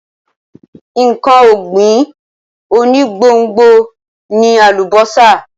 Nǹkan ọ̀gbìn onígbòǹgbò ni àlùbọ́sà.